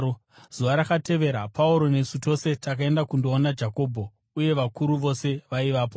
Zuva rakatevera Pauro nesu tose takaenda kundoona Jakobho, uye vakuru vose vaivapo.